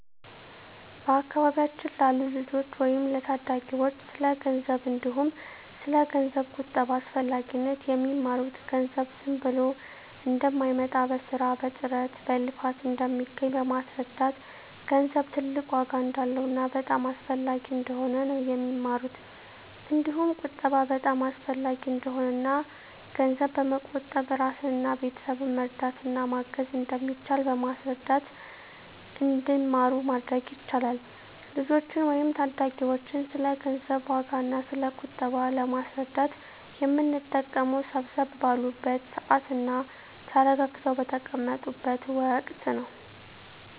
በአካባቢያችን ላሉ ልጆች ወይም ለታዳጊዎች ስለ ገንዘብ እንዲሁም ስለ ገንዘብ ቁጠባ አስፈላጊነት የሚማሩት ገንዘብ ዝም ብሎ እንደማይመጣ በስራ በጥረት በልፋት እንደሚገኝ በማስረዳት ገንዘብ ትልቅ ዋጋ እንዳለውና በጣም አስፈላጊ እንደሆነ ነው የሚማሩት እንዲሁም ቁጠባ በጣም አሰፈላጊ እንደሆነና እና ገንዘብ በመቆጠብ እራስንና ቤተሰብን መርዳት እና ማገዝ እንደሚቻል በማስረዳት እንዲማሩ ማድረግ ይቻላል። ልጆችን ወይም ታዳጊዎችን ስለ ገንዘብ ዋጋ እና ስለ ቁጠባ ለማስረዳት የምንጠቀመው ሰብሰብ ባሉበት ስዓት እና ተረጋግተው በተቀመጡት ወቀት ነው።